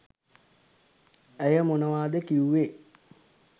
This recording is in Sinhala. ඇය මොනවාද කිව්වේ?